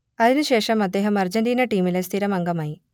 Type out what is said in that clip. അതിനുശേഷം അദ്ദേഹം അർജന്റീന ടീമിലെ സ്ഥിരം അംഗമായി